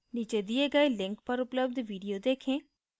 नीचे दिए गये link पर उपलब्ध video देखें